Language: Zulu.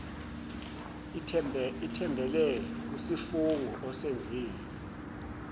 ithembele kusifungo osenzile